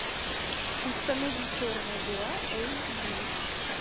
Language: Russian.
установи черная дыра эйч ди